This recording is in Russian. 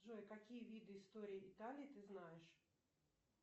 джой какие виды истории италии ты знаешь